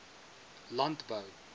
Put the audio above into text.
landbou